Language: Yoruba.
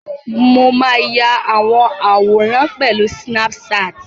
Mo máa ya àwọn àwòrán pẹ̀lú sínáp-saàtì